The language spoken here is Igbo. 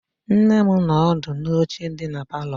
Nne m nọ ọdụ n'oche dị na palọ.